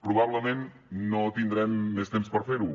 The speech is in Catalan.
probablement no tindrem més temps per fer ho